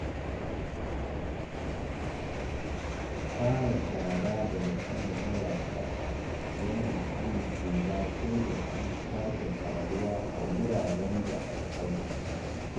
Fara shara daga sama zuwa ƙasa yana hana ƙura ko datti sake taruwa a wuraren da aka tsaftace.